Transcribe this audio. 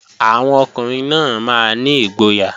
Àwọn ọkùnrin náà máa ní ìgboyà